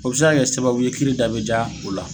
O bɛ se ka kɛ sababu ye kiiri dab ja u la.